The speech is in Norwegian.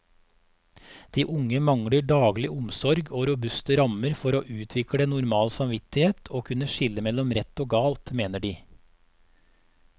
De unge mangler daglig omsorg og robuste rammer for å utvikle normal samvittighet og kunne skille mellom rett og galt, mener de.